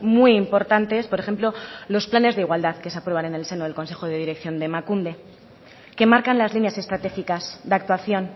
muy importantes por ejemplo los planes de igualdad que se aprobaron en el seno del consejo de dirección de emakunde que marcan las líneas estratégicas de actuación